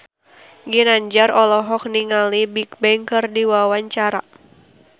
Ginanjar olohok ningali Bigbang keur diwawancara